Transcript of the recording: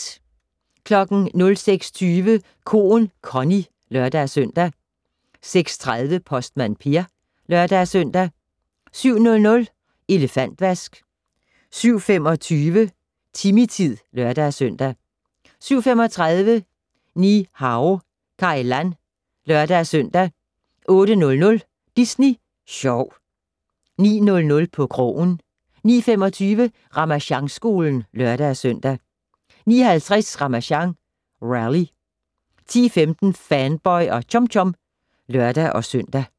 06:20: Koen Connie (lør-søn) 06:30: Postmand Per (lør-søn) 07:00: Elefantvask 07:25: Timmy-tid (lør-søn) 07:35: Ni-Hao Kai Lan (lør-søn) 08:00: Disney Sjov * 09:00: På krogen 09:25: Ramasjangskolen (lør-søn) 09:50: Ramasjang Rally 10:15: Fanboy og Chum Chum (lør-søn)